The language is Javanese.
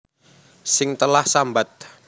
Sing telah sambat